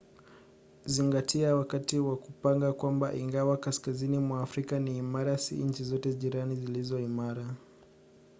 zingatia wakati wa kupanga kwamba ingawa kaskazini mwa afrika ni imara si nchi zote jirani zilizo imara